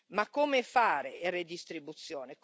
Ma come fare le redistribuzioni?